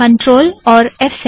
CTRL और F7